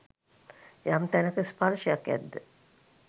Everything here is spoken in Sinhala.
යම් තැනක ස්පර්ශයක් ඇද්ද